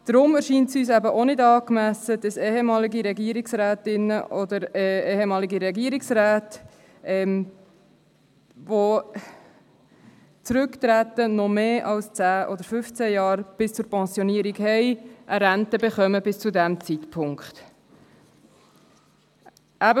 Deshalb erscheint es uns auch nicht angemessen, dass ehemalige Regierungsrätinnen oder ehemalige Regierungsräte, welche zurücktreten und denen noch mehr als 10 oder 15 Jahre bis zur Pensionierung bleiben, eine Rente bis zu diesem Zeitpunkt erhalten.